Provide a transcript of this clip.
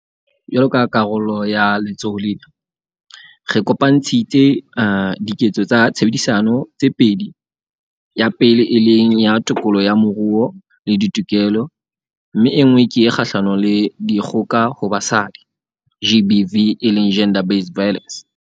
Jwalo ka karolo ya letsholo lena, re kopantshitse 'Diketso tsa Tshebedisano' tse pedi, ya pele e leng ya tokoloho ya moruo le ditokelo mme enngwe ke e kgahlano le dikgoka ho basadi GBV eleng Gender Based Violence.